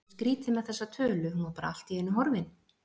Það var svo skrýtið með þessa tölu, hún var bara allt í einu horfin